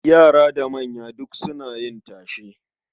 Yara da manya duk suna yin tashe.